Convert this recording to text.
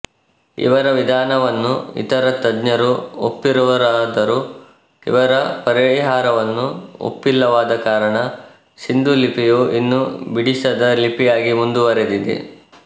ಇವರ ವಿಧಾನವನ್ನು ಇತರ ತಜ್ಞರು ಒಪ್ಪಿರುವರಾದರೂ ಇವರ ಪರಿಹಾರವನ್ನು ಒಪ್ಪಿಲ್ಲವಾದ ಕಾರಣ ಸಿಂಧೂಲಿಪಿಯು ಇನ್ನೂ ಬಿಡಿಸದ ಲಿಪಿಯಾಗಿ ಮುಂದುವರೆದಿದೆ